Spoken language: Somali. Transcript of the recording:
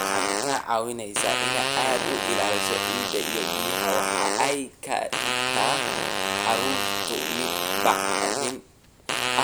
“Waxay kaa caawinaysaa in aad ilaaliso ciida iyo biyaha, waxa ay ka dhigtaa carradu mid bacrin